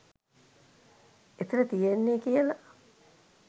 එතන තියෙන්නේ කියල.